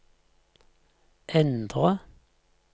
endre